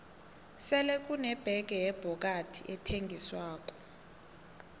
sele kune bege yebhokadi ethengiswako